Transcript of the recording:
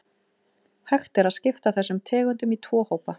Hægt er að skipta þessum tegundum í tvo hópa.